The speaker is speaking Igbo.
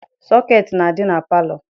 Sọketi na-adị na palọ.